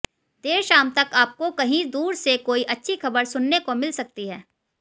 देर शाम तक आपको कहीं दूर से कोई अच्छी ख़बर सुनने को मिल सकती है